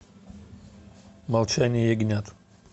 молчание ягнят